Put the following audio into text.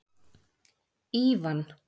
Ívan